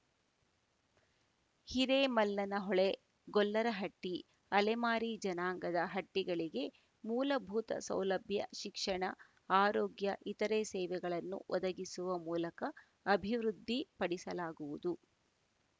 ಹಿರೇಮಲ್ಲನಹೊಳೆ ಗೊಲ್ಲರಹಟ್ಟಿ ಅಲೆಮಾರಿ ಜನಾಂಗದ ಹಟ್ಟಿಗಳಿಗೆ ಮೂಲಭೂತ ಸೌಲಭ್ಯ ಶಿಕ್ಷಣ ಆರೋಗ್ಯ ಇತರೆ ಸೇವೆಗಳನ್ನು ಒದಗಿಸುವ ಮೂಲಕ ಅಭಿವೃದ್ಧಿ ಪಡಿಸಲಾಗುವುದು